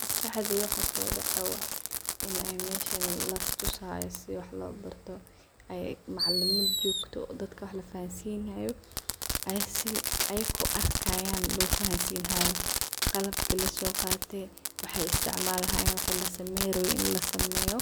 Maskaxdey waxa kusodacayo in meshan listusayo sidi wax lo barto ay macalimin jogto dadka wax lafansinayo qalab lobahanyahay lasoqate waxay isticmalayan waxi laseyn rabe lasameyo